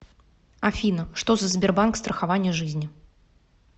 афина что за сбербанк страхование жизни